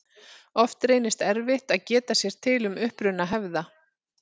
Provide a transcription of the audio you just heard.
Oft reynist erfitt að geta sér til um uppruna hefða.